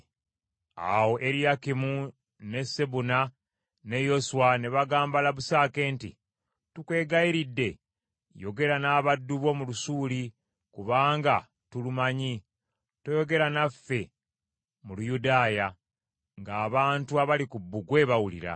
Awo Eriyakimu ne Sebuna ne Yoswa ne bagamba Labusake nti, “Tukwegayiridde yogera n’abaddu bo mu Lusuuli kubanga tulumanyi, toyogera naffe mu Luyudaaya ng’abantu abali ku bbugwe bawulira.”